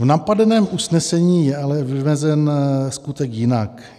V napadeném usnesení je ale vymezen skutek jinak.